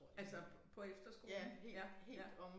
Altså på efterskolen ja ja